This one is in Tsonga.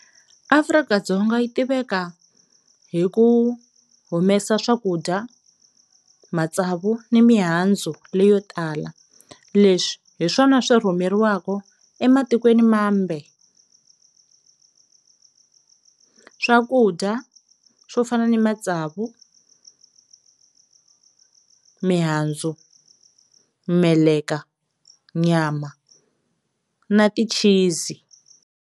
Afrika-Dzonga yi tiveka hi ku humesa swakudya, matsavu ni mihandzu leyo tala leswi hi swona swi rhumeriwaku ematikweni mambe, swakudya swo fana ni matsavu, mihandzu, meleka, nyama na ti-cheese.